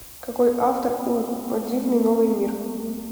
какой автор у о дивный новый мир